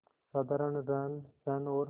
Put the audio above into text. साधारण रहनसहन और